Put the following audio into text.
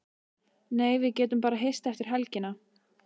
Nei, við getum bara hist eftir helgina.